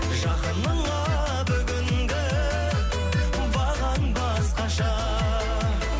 жақыныңа бүгінгі бағаң басқаша